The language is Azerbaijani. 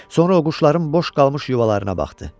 Sonra o quşların boş qalmış yuvalarına baxdı.